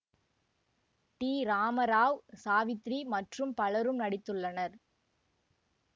D Ramarao Savitri மற்றும் பலரும் நடித்துள்ளனர்